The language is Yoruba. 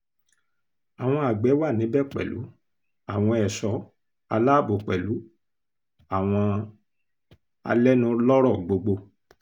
àwọn àgbẹ̀ wà níbẹ̀ pẹ̀lú àwọn ẹ̀ṣọ́ aláàbò pẹ̀lú àwọn alẹ́nulọ́rọ̀ gbogbo